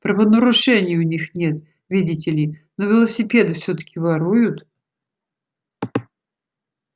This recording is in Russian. правонарушений у них нет видите ли но велосипеды всё-таки воруют